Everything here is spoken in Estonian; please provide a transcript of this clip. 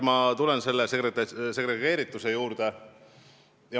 Ma tulen kõigepealt segregeerituse juurde.